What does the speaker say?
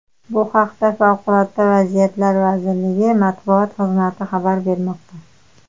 Bu haqda Favqulodda vaziyatlar vazirligi matbuot xizmati xabar bermoqda .